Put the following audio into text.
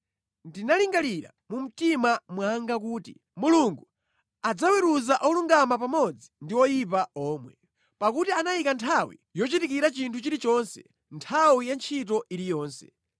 Ndinalingalira mu mtima mwanga kuti; “Mulungu adzaweruza olungama pamodzi ndi oyipa omwe, pakuti anayika nthawi yochitikira chinthu chilichonse, nthawi ya ntchito iliyonse.”